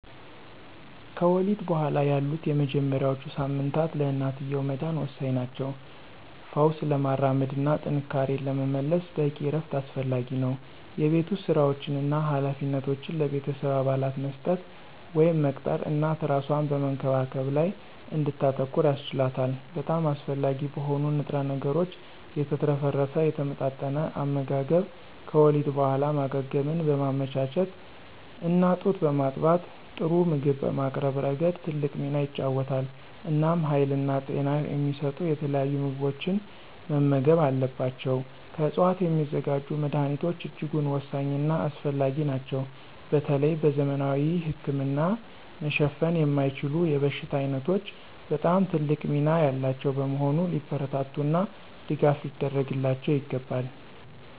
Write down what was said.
ከወሊድ በኋላ ያሉት የመጀመሪያዎቹ ሳምንታት ለእናትየው መዳን ወሳኝ ናቸው። ፈውስ ለማራመድ እና ጥንካሬን ለመመለስ በቂ እረፍት አስፈላጊ ነው። የቤት ውስጥ ሥራዎችን እና ኃላፊነቶችን ለቤተሰብ አባላት መስጠት ወይም መቅጠር እናት እራሷን በመንከባከብ ላይ እንድታተኩር ያስችላታል። በጣም አስፈላጊ በሆኑ ንጥረ ነገሮች የተትረፈረፈ የተመጣጠነ አመጋገብ ከወሊድ በኋላ ማገገምን በማመቻቸት እና ጡት በማጥባት ጥሩ ምግብ በማቅረብ ረገድ ትልቅ ሚና ይጫወታል። እናም ሀይልና ጤና የሚሰጡ የተለያዩ ምግቦችን መመገብ አለባቸው። ከዕፅዋት የሚዘጋጁ መድኀኒቶች እጅጉን ወሳኝና አስፈላጊ ናቸው በተለይ በዘመናዊ ህክምና መሸፈን የማይችሉ የበሽታ ዓይነቶች በጣም ትልቅ ሚና ያላቸው በመሆኑ ሊበረታቱና ድጋፍ ሊደረግላቸው ይገባል።